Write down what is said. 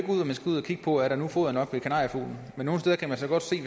man skal ud at kigge på om der nu er foder nok til kanariefuglen men nogle steder kan man godt se